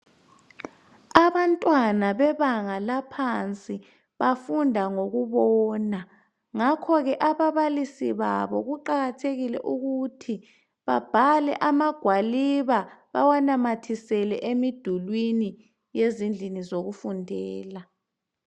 Abantwana bebanga laphansi bafunda ngokubona, ngakhoke ababalisi babo kuqakathekile ukuthi babhale amagwaliba bawanamathisele emidulwini yezindlini zokufundela.